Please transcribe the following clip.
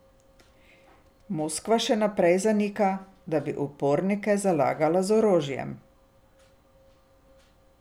Moskva še naprej zanika, da bi upornike zalagala z orožjem.